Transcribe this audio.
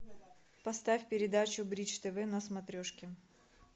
поставь передачу бридж тв на смотрешке